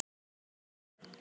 Biðin eftir pabba.